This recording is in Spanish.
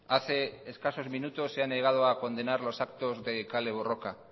hace escasos minutos se ha negado a condenar los actos de kale borroka